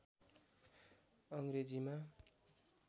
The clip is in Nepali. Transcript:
अङ्ग्रेजीमा